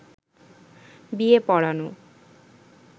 বিয়ে পড়ানো